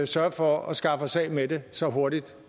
sørge for at skaffe os af med det så hurtigt